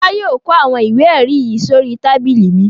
Fọlá yóò kó àwọn ìwé-ẹ̀rí yìí sórí tábìlì mi.